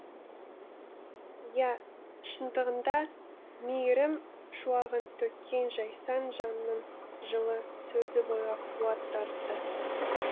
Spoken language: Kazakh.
иә шындығында мейірім шуағын төккен жайсаң жанның жылы сөзі бойға қуат дарытты